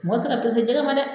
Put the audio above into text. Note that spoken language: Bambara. Mɔgɔ ti se ka jɛgɛ ma dɛ.